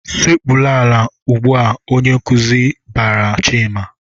"Sekpuru ala ugbu a!" Onye nkuzi barala Chima.